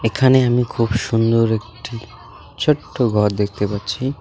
এখানে আমি খুব সুন্দর একটি ছোট্ট ঘর দেখতে পাচ্ছি।